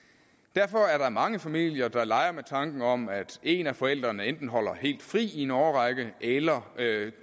derfor er der mange familier der leger med tanken om at en af forældrene enten holder helt fri i en årrække eller